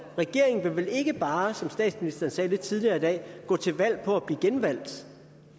regeringen vil vel ikke bare som statsministeren sagde lidt tidligere i dag gå til valg på at blive genvalgt